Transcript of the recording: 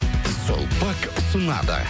сулпак ұсынады